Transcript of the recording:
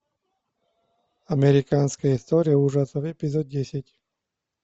американская история ужасов эпизод десять